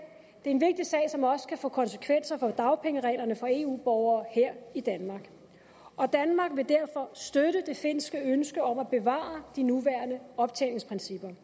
en vigtig sag som også kan få konsekvenser for dagpengereglerne for eu borgere her i danmark og danmark vil derfor støtte det finske ønske om at bevare de nuværende optjeningsprincipper